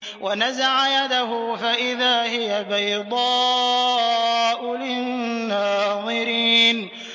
وَنَزَعَ يَدَهُ فَإِذَا هِيَ بَيْضَاءُ لِلنَّاظِرِينَ